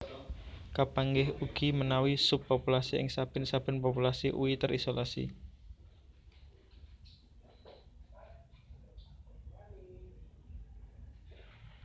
Kapanggih ugi menawi sub populasi ing saben saben populasi ui terisolasi